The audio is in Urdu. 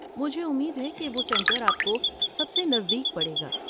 مجھے امید ہے کہ وہ سنٹر آپ کو سب سے نزدیک پڑے گا۔